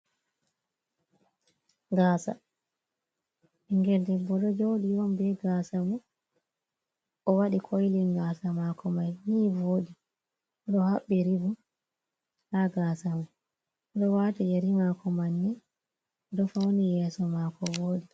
Gaasa, ɓinngel debbo ɗo jooɗi on bee gaasa mun, o waɗi koylin gaasa nii vooɗi. Oɗo haɓɓi ribon, daa gaasa man, oɗo waati yeri maako manne, oɗo fauni yeeso maako vooɗi.